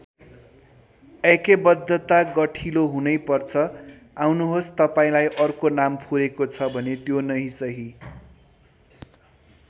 ऐक्यबद्धता गठिलो हुनै पर्छ आउनुहोस् तपाईँंलाई अर्को नाम फुरेको छ भने त्यो नै सही।